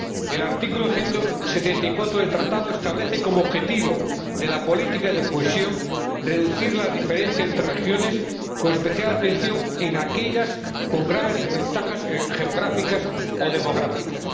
El artículo 174 del Tratado establece como objetivo de la política de cohesión reducir las diferencias entre regiones, con especial atención a aquellas con graves desventajas geográficas o demográficas.